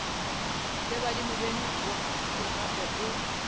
le badimo beno gape o